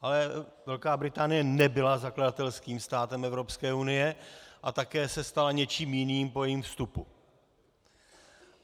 Ale Velká Británie nebyla zakladatelským státem Evropské unie a také se stala něčím jiným po jejím vstupu.